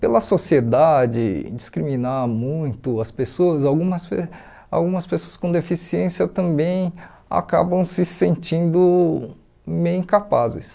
Pela sociedade discriminar muito as pessoas, algumas pe algumas pessoas com deficiência também acabam se sentindo meio incapazes.